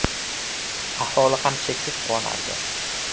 Aholi ham cheksiz quvonardi”.